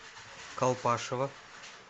колпашево